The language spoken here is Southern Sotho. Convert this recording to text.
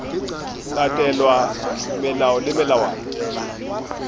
latelwa melao le melawana ya